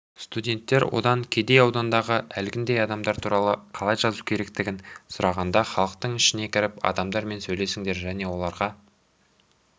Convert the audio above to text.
студенттер одан кедей аудандағы әлгіндей адамдар туралы қалай жазу керектігін сұрағанда халықтың ішіне кіріп адамдармен сөйлесіңдер және оларға